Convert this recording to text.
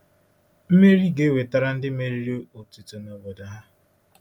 Mmeri ga-ewetara ndị meriri otuto na obodo ha.